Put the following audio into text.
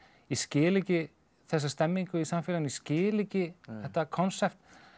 skil ekki þessa stemningu í samfélaginu ég skil ekki þetta konsept